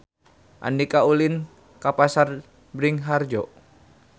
Andika ulin ka Pasar Bringharjo